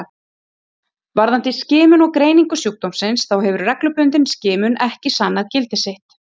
Varðandi skimun og greiningu sjúkdómsins þá hefur reglubundin skimun ekki sannað gildi sitt.